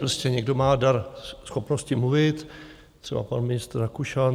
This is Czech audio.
Prostě někdo má dar, schopnosti mluvit, třeba pan ministr Rakušan.